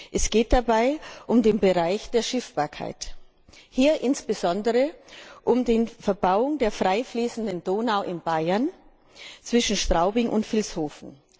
Es geht dabei um den Bereich der Schiffbarkeit, hier insbesondere um die Verbauung der frei fließenden Donau in Bayern zwischen Straubing und Vilshofen.